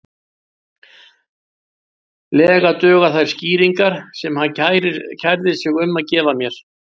lega duga þær skýringar sem hann kærði sig um að gefa mér.